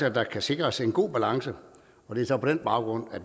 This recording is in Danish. at der kan sikres en god balance og det er så på den baggrund